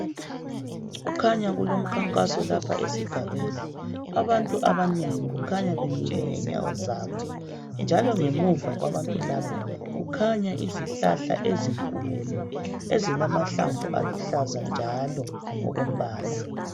Kukhanya kulomkhankaso lapha esigabeni abantu abanengi kukhanya bemile ngezinyawo zabo njalo ngemuva kwabantu labo kukhanaya izihlahla ezinkulu ezilamahlamvu aluhlaza njalo ngokombala.